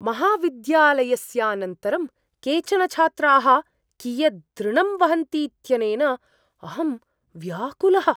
महाविद्यालयस्यानन्तरं केचन छात्राः कियदृणं वहन्तीत्यनेन अहं व्याकुलः।